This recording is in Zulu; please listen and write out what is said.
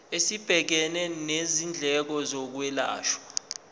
esibhekene nezindleko zokwelashwa